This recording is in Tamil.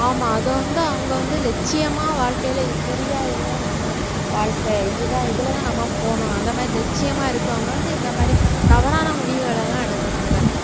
ஆமா அதை வந்து அவங்க வந்து லட்சியமா வாழ்க்கையில புரியா இதுதான் நம்ம வாழ்க்கை இதுதான் இதுலதான் நம்ம போகணும் அந்த மாதிரி லட்சியமா இருக்கவங்க வந்து இந்த மாதிரி தவறான முடிவுகள் எல்லாம் எடுக்குறாங்க